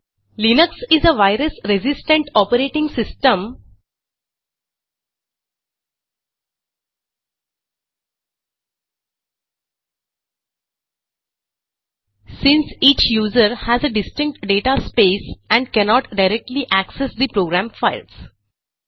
Linux is a virus resistant operating system since each user has a distinct data space and cannot directly access the program files